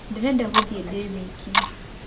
Ndĩrenda gũthĩĩ ndĩ wĩke.